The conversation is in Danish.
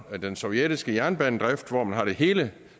den sovjetiske jernbanedrift hvor man har det hele